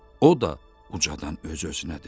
O da ucadan öz-özünə dedi.